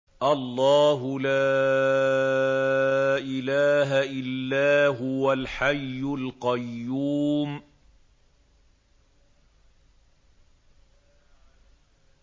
اللَّهُ لَا إِلَٰهَ إِلَّا هُوَ الْحَيُّ الْقَيُّومُ